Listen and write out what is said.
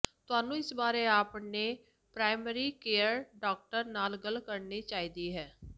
ਤੁਹਾਨੂੰ ਇਸ ਬਾਰੇ ਆਪਣੇ ਪ੍ਰਾਇਮਰੀ ਕੇਅਰ ਡਾਕਟਰ ਨਾਲ ਗੱਲ ਕਰਨੀ ਚਾਹੀਦੀ ਹੈ